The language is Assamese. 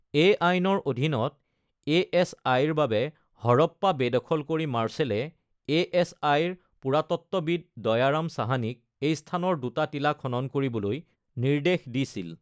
এই আইনৰ অধীনত এ.এছ.আই.-ৰ বাবে হৰপ্পা বেদখল কৰি মাৰ্শ্বেলে এ.এছ.আই.-ৰ পুৰাতত্ত্ববিদ দয়া ৰাম সাহানীক এই স্থানৰ দুটা টিলা খনন কৰিবলৈ নিৰ্দেশ দিছিল।